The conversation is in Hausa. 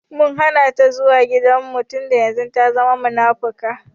Mun Hana ta zuwa gidan mu tunda yanzun ta zama munafuka.